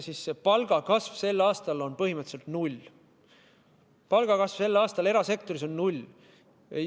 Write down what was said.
Palgakasv sel aastal on põhimõtteliselt null, palgakasv sel aastal erasektoris on null.